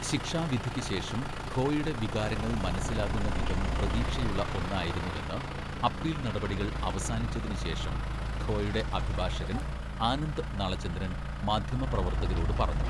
ശിക്ഷാവിധിക്ക് ശേഷം ഖോയുടെ വികാരങ്ങൾ 'മനസിലാകുന്ന വിധം പ്രതീക്ഷയുള്ള' ഒന്നായിരുന്നുവെന്ന് അപ്പീൽ നടപടികൾ അവസാനിച്ചതിന് ശേഷം ഖോയുടെ അഭിഭാഷകൻ ആനന്ദ് നളചന്ദ്രൻ മാധ്യമപ്രവർത്തകരോട് പറഞ്ഞു.